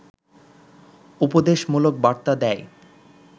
উপদেশমূলক বার্তা দেয়